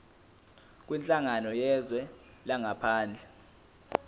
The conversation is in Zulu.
kwinhlangano yezwe langaphandle